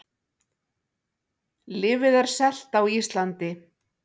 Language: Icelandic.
Lyfið er selt á Íslandi